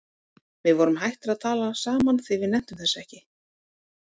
Við vorum hættir að tala saman því við nenntum þessu ekki.